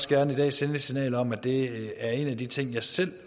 gerne i dag sende et signal om at det også er en af de ting jeg selv